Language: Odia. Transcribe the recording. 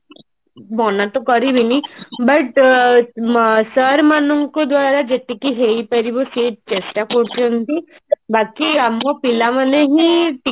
ମନା ତ କରିବିନି but ଆଁ sir ମାନଙ୍କ ଦ୍ଵାରା ଯେତିକି ହେଇପାରିବ ସେ ଚେଷ୍ଟା କରୁଛନ୍ତି ବାକି ଆମ ପିଲାମାନେ ହିଁ ଟିକେ